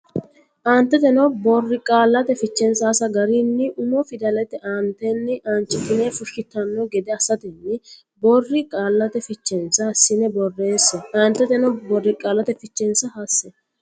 Aantete borqaallate fichensa hasse garinni umo fidallate aantenni aanchitine fushshitanno gede assatenni borqaallate fichensa hassine borreesse Aantete borqaallate fichensa hasse.